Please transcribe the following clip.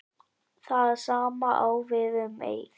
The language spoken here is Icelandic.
Það sama á við um Eið.